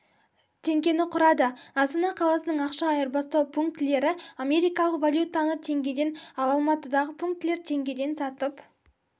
теңгені құрады астана қаласының ақша айырбастау пунктілері америкалық валютаны теңгеден ал алматыдағы пунктілер теңгеден сатып